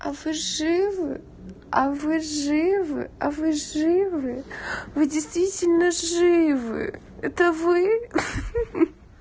а вы живы а вы живы а вы живы вы действительно живы это вы хе-хе